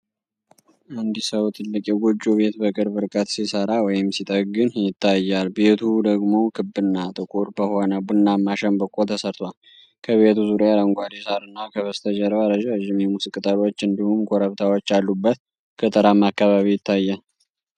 አንድ ሰው ትልቅ የጎጆ ቤት በቅርብ ርቀት ሲሠራ ወይም ሲጠግን ይታያል፤ ቤቱ ደግሞ ክብና ትልቅ በሆነ ቡናማ ሸንበቆ ተሠርቷል። ከቤቱ ዙሪያ አረንጓዴ ሣርና ከበስተጀርባ ረዣዥም የሙዝ ቅጠሎች እንዲሁም ኮረብታዎች ያሉበት ገጠራማ አካባቢ ይታያል።